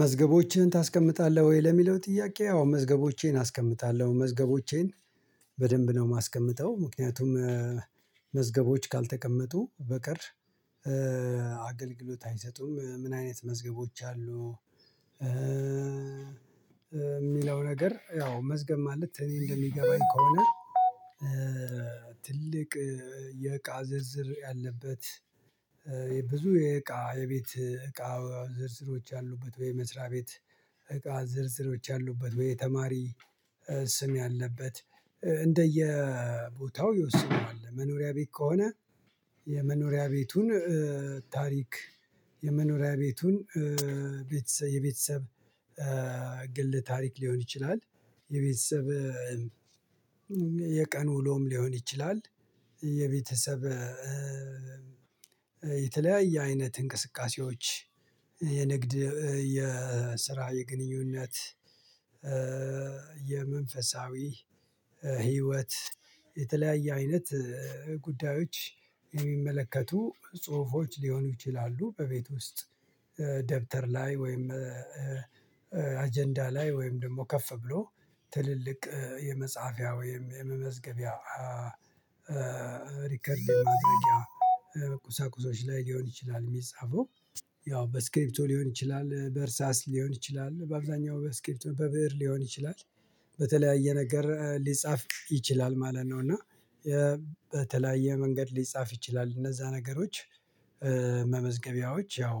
መዝገቦችህን ታስቀምጣለህ ወይ ለሚለው ጥያቄ? አዎ መዝገቦቼን አስቀምጣለሁ መዝገቦቼን በደንብ ነው የማስቀምጠው ምክንያቱም መዝገቦች ካልተቀመጡ በቀር አገልግሎት አይሰጡም። ምን አይነት መዝገቦች አሉ? የሚለው ነገር ያው መዝገብ ማለት እኔ እንደሚገባኝ ከሆነ። ትልቅ የእቃ ዝርዝር ያለበት ብዙ የእቃ የቤት እቃ ዝርዝሮች ያሉበት ወይ መስሪያ ቤት እቃ ዝርዝሮች ያሉበት ወይ ተማሪ ስም ያለበት እንደየቦታው ይወስነዋል። መኖሪያ ቤት ከሆነ የመኖሪያ ቤቱን ታሪክ የመኖሪያ ቤቱን የቤተሰብ ግል ታሪክ ሊሆን ይችላል። የቤተሰብ የቀኑ ውሎም ሊሆን ይችላል። የቤተሰብ የተለያየ አይነት እንቅስቃሴዎች የንግድ የስራ የግንኙነት የመንፈሳዊ ህይወት የተለያየ አይነት ጉዳዮች የሚመለከቱ ጽሁፎች ሊሆኑ ይችላሉ። በቤት ውስጥ ደብተር ላይ ወይም አጀንዳ ላይ ወይም ደግሞ ከፍ ብሎ ትልልቅ የመጽሐፊያ ወይም የመመዝገቢያ ሪከርድ ማድረጊያ ቁሳቁሶች ላይ ሊሆን ይችላል። የሚጻፈው ያው በስክሪፕቶ ሊሆን ይችላል በእርሳስ ሊሆን ይችላል በአብዛኛው በስክሪብቶ በብእር ሊሆን ይችላል በተለያየ ነገር ሊጻፍ ይችላል ማለት ነው። እና በተለያየ መንገድ ሊጻፍ ይችላል እነዛ ነገሮች መመዝገቢያዎች ያው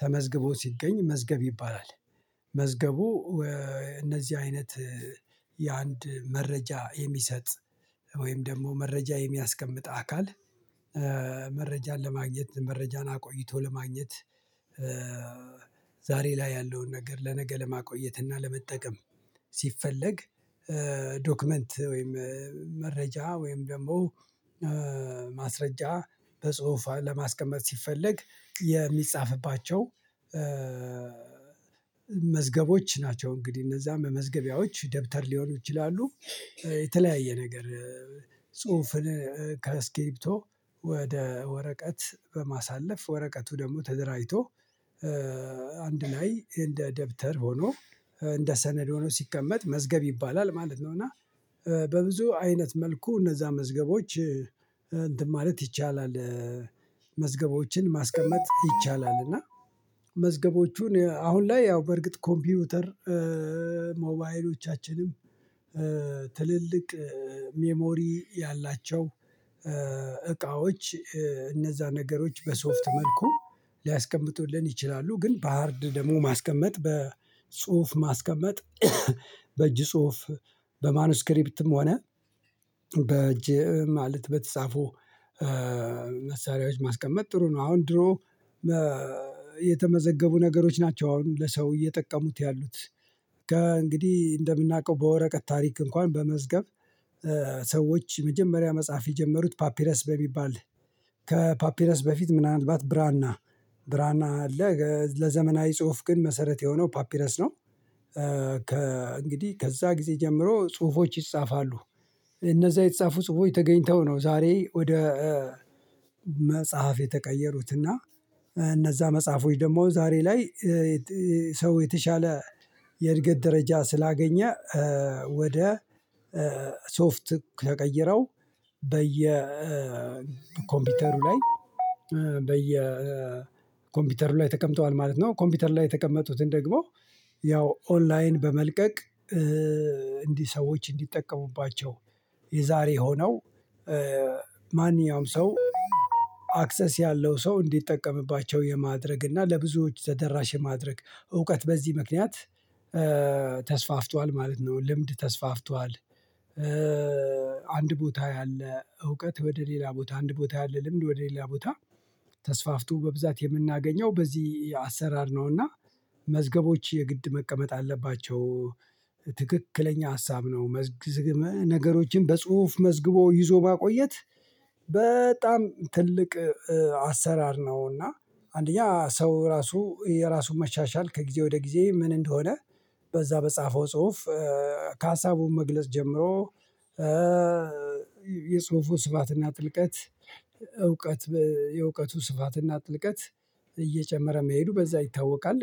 ተመዝግቦ ሲገኝ መዝገብ ይባላል። መዝገቡ እነዚህ አይነት የአንድ መረጃ የሚሰጥ ወይም ደግሞ መረጃ የሚያስቀምጥ አካል መረጃን ለማግኘት መረጃን አቆይቶ ለማግኘት። ዛሬ ላይ ያለውን ነገር ለነገ ለማቆየት እና ለመጠቀም። ሲፈለግ ዶክመንት ወይም መረጃ ወይም ደግሞ ማስረጃ በጽሁፍ ለማስቀመጥ ሲፈለግ የሚጻፍባቸው መዝገቦች ናቸው። እንግዲህ እነዛ መመዝገቢያዎች ደብተር ሊሆኑ ይችላሉ። የተለያየ ነገር ጽሁፍን ከስክሪብቶ ወደ ወረቀት በማሳለፍ ወረቀቱ ደግሞ ተደራጅቶ አንድ ላይ እንደ ደብተር ሆኖ እንደ ሰነድ ሆኖ ሲቀመጥ መዝገብ ይባላል ማለት ነው። እና በብዙ አይነት መልኩ እነዛ መዝገቦች እንትን ማለት ይቻላል መዝገቦችን ማስቀመጥ ይቻላል። እና መዝገቦቹን አሁን ላይ ያው በርግጥ ኮምፒውተር ሞባይሎቻችንም ትልልቅ ሚሞሪ ያላቸው እቃዎች እነዛ ነገሮች በሶፍት መልኩ ሊያስቀምጡልን ይችላሉ። ግን በሃርድ ደግሞ ማስቀመጥ በጽሁፍ ማስቀመጥ በእጅ ጽሁፍ በማኑስክሪፕትም ሆነ በእጅ ማለት በተጻፉ መሳሪያዎች ማስቀመጥ ጥሩ ነው። አሁን ድሮ የተመዘገቡ ነገሮች ናቸው አሁን ለሰው እየጠቀሙት ያሉት። እንግዲህ እንደምናውቀው በወረቀት ታሪክ እንኳን በመዝገብ ሰዎች የመጀመሪያ መጽሐፍ የጀመሩት ፓፒረስ በሚባል ከፓፒረስ በፊት ምናልባት ብራና ብራና አለ ለዘመናዊ ጽሁፍ ግን መሰረት የሆነው ፓፒረስ ነው። እንግዲህ ከዛ ጊዜ ጀምሮ ጽሁፎች ይጻፋሉ። እነዛ የተጻፉ ጽሁፎች ተገኝተው ነው ዛሬ ወደ መጽሐፍ የተቀየሩትና እነዛ መጽሐፎች ደግሞ ዛሬ ላይ ሰው የተሻለ የእድገት ደረጃ ስላገኘ ወደ ሶፍት ተቀይረው በየኮምፒውተሩ ላይ በየኮምፒውተሩ ላይ ተቀምጠዋል ማለት ነው። ኮምፒውተር ላይ የተቀመጡትን ደግሞ ያው ኦንላይን በመልቀቅ እንዲህ ሰዎች እንዲጠቀሙባቸው የዛሬ የሆነው ማንኛውም ሰው አክሰስ ያለው ሰው እንዲጠቀምባቸው የማድረግ እና ለብዙዎች ተደራሽ የማድረግ እውቀት በዚህ ምክንያት ተስፋፍቷል ማለት ነው። ልምድ ተስፋፍቷል። አንድ ቦታ ያለ እውቀት ወደ ሌላ ቦታ አንድ ቦታ ያለ ልምድ ወደ ሌላ ቦታ ተስፋፍቶ በብዛት የምናገኘው በዚህ አሰራር ነውና መዝገቦች የግድ መቀመጥ አለባቸው። ትክክለኛ ሀሳብ ነው። መዝግቦ ነገሮችን በጽሁፍ መዝግቦ ይዞ ማቆየት በጣም ትልቅ አሰራር ነውና። አንደኛ ሰው ራሱ የራሱን መሻሻል ከጊዜ ወደ ጊዜ ምን እንደሆነ በዛ በጻፈው ጽሁፍ ከሀሳቡ መግለጽ ጀምሮ የጽሁፉ ስፋትና ጥልቀት እውቀት የእውቀቱ ስፋትና ጥልቀት እየጨመረ መሄዱ በዛ ይታወቃል